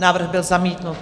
Návrh byl zamítnut.